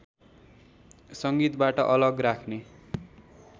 संगीतबाट अलग राख्ने